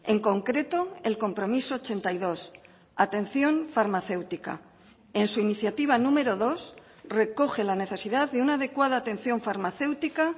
en concreto el compromiso ochenta y dos atención farmacéutica en su iniciativa número dos recoge la necesidad de una adecuada atención farmacéutica